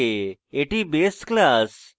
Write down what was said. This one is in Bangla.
এটি base class